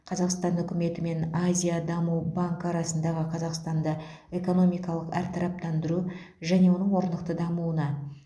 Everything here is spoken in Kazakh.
қазақстан үкіметі мен азия даму банкі арасындағы қазақстанды экономикалық әртараптандыру және оның орнықты дамуына